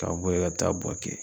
Ka bo ye ka taa Bouaké